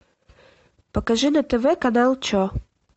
покажи на тв канал че